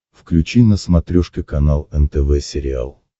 включи на смотрешке канал нтв сериал